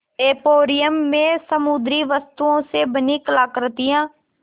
emporium में समुद्री वस्तुओं से बनी कलाकृतियाँ